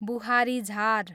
बुहारी झार